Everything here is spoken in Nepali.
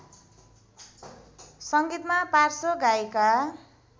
सङ्गीतमा पार्श्व गायिका